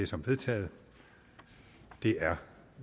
som vedtaget det er